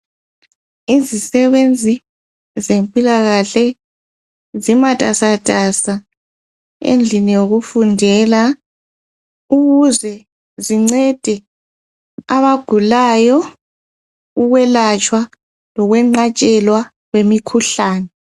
Izisebenzi zempilakahle zimatasatasa endlini yokufundela ukuze zincede abagulayo Ukwelatshwa lokwenqatshelwa kwemikhuhlane